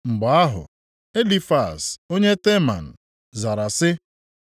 Mgbe ahụ, Elifaz onye Teman zara sị: